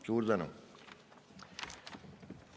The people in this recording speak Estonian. Suur tänu!